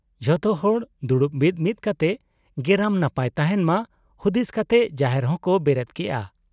ᱡᱷᱚᱛᱚ ᱦᱚᱲ ᱫᱩᱲᱩᱵ ᱢᱤᱫ ᱢᱤᱫ ᱠᱟᱛᱮ ᱜᱮᱨᱟᱢ ᱱᱟᱯᱟᱭ ᱛᱟᱦᱮᱸᱱ ᱢᱟ ᱦᱩᱫᱤᱥ ᱠᱟᱛᱮ ᱡᱟᱦᱮᱨ ᱦᱚᱸ ᱠᱚ ᱵᱮᱨᱮᱫ ᱠᱮᱜ ᱟ ᱾